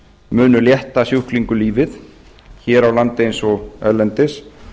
munu létta sjúklingum lífið hér á landi eins og erlendis